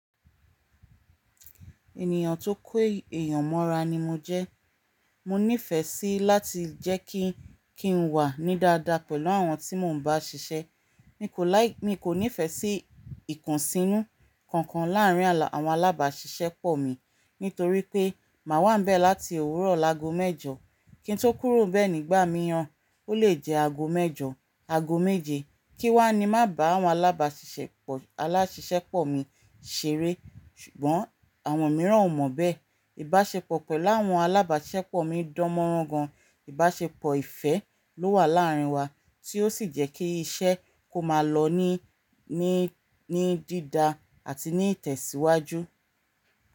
Ènìyàn tó kó èèyàn mọ́ra ni mo jẹ́. Mo nífẹ̀ẹ́ sí láti jẹ́ kí n wà ní dáadáa pẹ̀lú àwọn tí mò ń bá ṣiṣẹ́. Mi kò láì, mi kò nífẹ̀ẹ́ sí ìkùnsínú kankan láàárín àwọn alábàáṣiṣẹ́pọ̀ mi nítorí pé màá wá ń bẹ láti òwúrọ̀ lágo mẹ́jọ. Kí n tó kúrò bẹ ni gbà mìíràn, ó lè jẹ́ ago mẹ́jọ ago méje kí wá ni ma bá àwọn alábàṣiṣẹ́pọ̀ alasisepomi ṣeré ṣùgbọ́n àwọn mìíràn ò mọ bẹ́. Ìbáṣepọ̀ pẹ̀lú àwọn alábàáṣiṣẹ́pọ̀ mi dánmọ́rán gan. Ìbáṣepọ̀ ìfẹ́ ló wà láàárín wa tí ó sì jẹ́ kí iṣẹ́ kó máa lọ ní, ní, ní dídá àti ní ìtẹ̀síwájú.